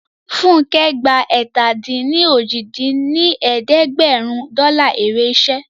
Funkẹ́ gba ẹ̀ta-dín-ní-ojì dín ní ẹ̀ẹ́dẹ́gbẹ́rún dọ́là èrè iṣẹ́